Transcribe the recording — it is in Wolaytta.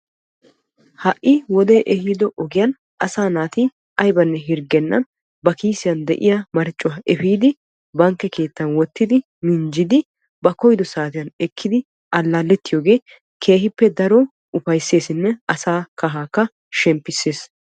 Ha'i wodee ehido asaa naati aybanne hirggennan ba kiisiyan de'iyaa marccuwaa epiidi bankke keettan wottidi ba koyido saatiyaan ekkidi allaalettiyoogee keehippe daro ufayssesinne asaa kahaakka shemppisses.